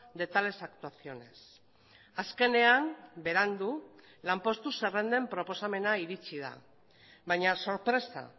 de tales actuaciones azkenean berandu lanpostu zerrenden proposamena iritsi da baina sorpresa